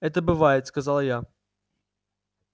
это бывает сказала я